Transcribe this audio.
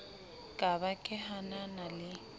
ka ba ke hanana le